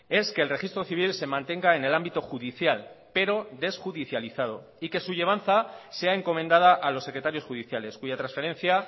es que el registro civil se mantenga en el ámbito judicial pero desjudicializado y que su llevanza sea encomendada a los secretarios judiciales cuya transferencia